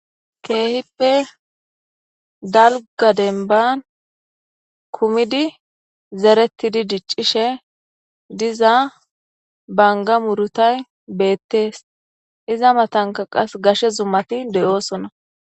Kihippe dalga demban kumidi zeretidi dicishe diza Banga murutay betes iza matanka gashe zumati de'osona.